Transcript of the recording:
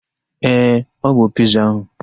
Éè, ọ bụ piza ahu